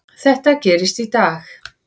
Þetta gerðist í dag.